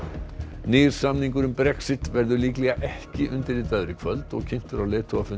nýr samningur um Brexit verður líklega ekki undirritaður í kvöld og kynntur á leiðtogafundi